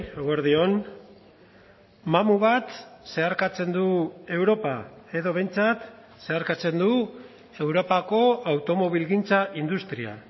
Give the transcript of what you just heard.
eguerdi on mamu bat zeharkatzen du europa edo behintzat zeharkatzen du europako automobilgintza industria